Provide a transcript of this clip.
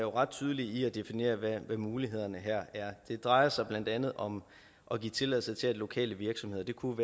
ret tydeligt definerer hvad mulighederne her er det drejer sig blandt andet om at give tilladelse til at lokale virksomheder det kunne